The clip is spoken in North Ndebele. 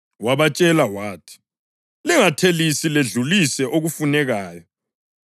Wabatshela wathi, “Lingathelisi ledlulise okufunekayo.”